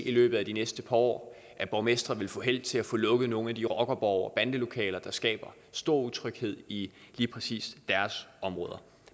i løbet af de næste par år at borgmestre vil få held til at få lukket nogle af de rockerborge og bandelokaler der skaber stor utryghed i lige præcis deres områder